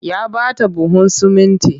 Ya ba ta buhun sumunti